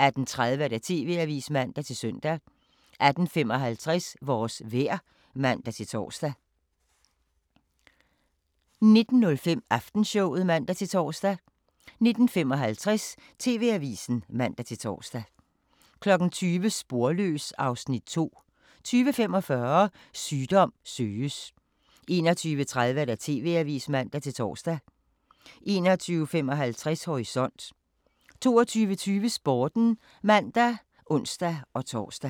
18:30: TV-avisen (man-søn) 18:55: Vores vejr (man-tor) 19:05: Aftenshowet (man-tor) 19:55: TV-avisen (man-tor) 20:00: Sporløs (Afs. 2) 20:45: Sygdom søges 21:30: TV-avisen (man-tor) 21:55: Horisont 22:20: Sporten (man og ons-tor)